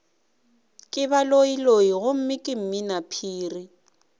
ke baloiloi gomme ke mminaphiri